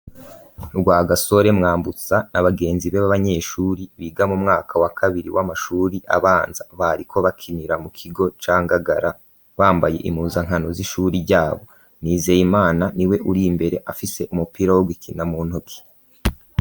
Rwagasore, mwambutsa na bagenzi be b'abanyeshuri biga mu mwaka wa kabiri w'amashuri abanza bariko bakinira mu kigo ca ngagara bambaye imuza nkano z'ishuri ryabo nizeye imana ni we uri mbere afise umupira wo gukina mu ntoki.